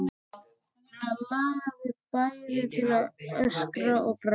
Hana langaði bæði til að öskra og gráta.